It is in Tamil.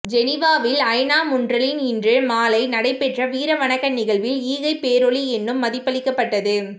ஜெனீவாவில் ஐ நா முன்றலில் இன்று மாலை நடைபெற்ற வீர வணக்க நிகழ்வில் ஈகை பேரொளி என்னும் மதிபளிக்கப்பட்டது